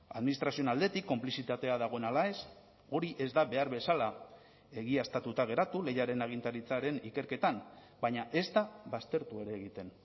administrazioen aldetik konplizitatea dagoen ala ez hori ez da behar bezala egiaztatuta geratu lehiaren agintaritzaren ikerketan baina ezta baztertu ere egiten